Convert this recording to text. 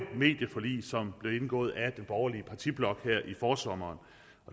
medieforlig som blev indgået af den borgerlige partiblok her i forsommeren